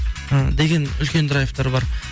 і деген үлкен драйвтар бар